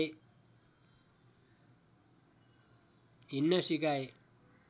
हिँड्न सिकाए